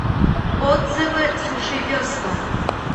отзывы сушивесла